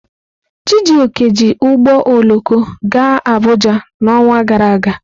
Chijioke ji ụgbọ oloko gaa Abuja n'ọnwa gara aga.